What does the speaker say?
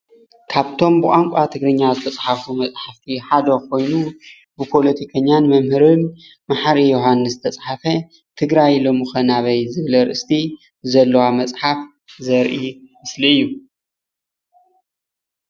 ካብቶም ብቋንቋ ትግርኛ ዝተፅሓፉ መጻሓፍቲ ሓደ ኾይኑ ብፖለቲከኛን መምህርን መሓሪ ዮሃንስ ዝተፅሓፈ ትግራይ ሎሚኸ ናበይ ዝብል ኣርእስቲ ዘለዋ ምፅሓፍ ዘርኢ ምስሊ እዩ።